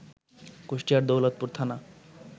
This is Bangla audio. কুষ্টিয়ার দৌলতপুর থানা